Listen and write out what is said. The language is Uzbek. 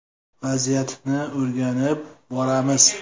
Vaziyatni o‘rganib boramiz.